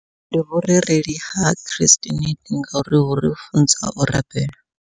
Ndi vhurereli ha Christianity ngauri huri funza u rabela.